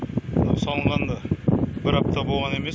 мынау салынғанына бір апта болған емес